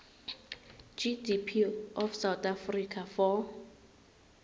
gdp of south africa for